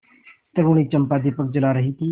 तरूणी चंपा दीपक जला रही थी